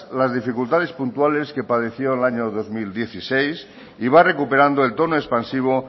las dificultades puntuales que padeció en el año dos mil dieciséis y va recuperando el tono expansivo